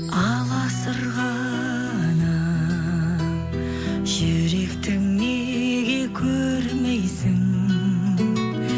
аласұрғанын жүректің неге көрмейсің